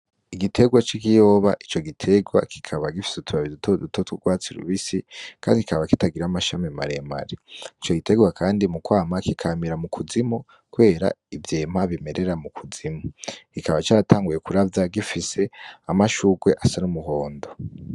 Igiterwa c'ikiyoba , ico giterwa kikaba gifise utubabi dutoduto t'urwatsi rubisi , kandi kikaba kitagira amashami maremare .Ico giterwa kandi mu kwama kikamira mu kuzimu kubera ivyema bimerera mu kuzimu .Kikaba catanguye kuravya gifise amashurwe asa n'umuhondo.